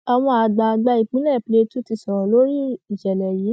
àwọn àgbààgbà ìpínlẹ plateau ti sọrọ lórí ìṣẹlẹ yìí